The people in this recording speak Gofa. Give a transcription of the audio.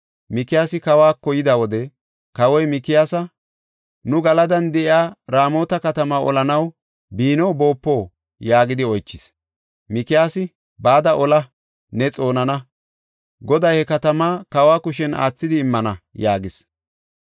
Mikiyaasi kawako yida wode, kawoy, “Mikiyaasa, nu Galadan de7iya Raamota katamaa olanaw biino boopo” yaagidi oychis. Mikiyaasi, “Bada ola; ne xoonana. Goday he katama kawa kushen aathidi immana” yaagis.